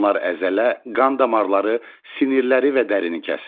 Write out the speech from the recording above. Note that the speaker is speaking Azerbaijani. Onlar əzələ, qan damarları, sinirləri və dərini kəsir.